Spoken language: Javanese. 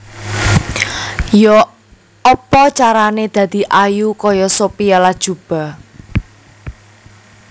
Yok opo carane dadi ayu koyok Sophia Latjuba